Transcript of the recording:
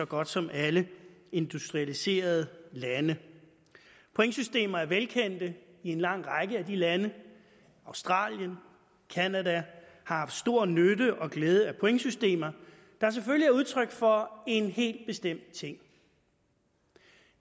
godt som alle industrialiserede lande pointsystemer er velkendte i en lang række lande australien og canada har haft stor nytte og glæde af pointsystemer der selvfølgelig er udtryk for en helt bestemt ting